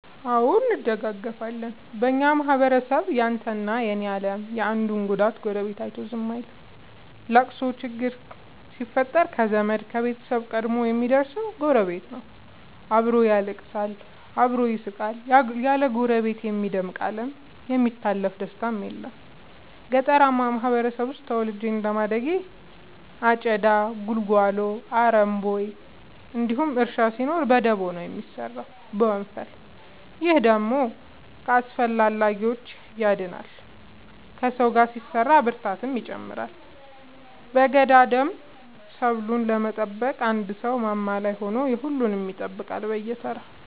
አዎ እንደጋገፋለን በኛ ማህበረሰብ ያንተ እና የኔ የለም የአንዱን ጉዳት ጎረቤቱ አይቶ ዝም አይልም። ለቅሶ ችግር ሲፈጠር ከዘመድ ከቤተሰብ ቀድሞ የሚደር ሰው ጎረቤት ነው። አብሮ ያለቅሳል አብሮ ይስቃል ያለ ጎረቤት የሚደምቅ አለም የሚታለፍ ደስታም የለም። ገጠርአማ ማህበረሰብ ውስጥ ተወልጄ እንደማደጌ አጨዳ ጉልጎሎ አረም ቦይ እንዲሁም እርሻ ሲኖር በደቦ ነው የሚሰራው በወንፈል። ይህ ደግሞ ከአላስፈላጊዎቺ ያድናል ከሰው ጋር ሲሰራ ብርታትን ይጨምራል። በገዳደሞ ሰብሉን ለመጠበቅ አንድ ሰው ማማ ላይ ሆኖ የሁሉም ይጠብቃል በየተራ።